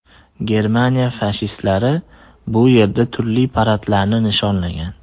Germaniya fashistlari bu yerda turli paradlarni nishonlagan.